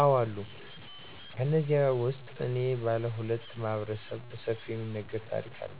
አዎ አሉ። ከነዚህም ውስጥ እኔ ባለሁለት ማህበረሰብ በሰፊው የሚነገር ታሪክ አለ።